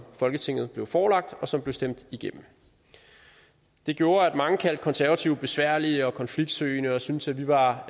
folketinget blev forelagt og som blev stemt igennem det gjorde at mange kaldte de konservative besværlige og konfliktsøgende og syntes at vi var